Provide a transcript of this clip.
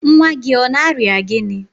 nwa gị ọ na-arịa gịnị?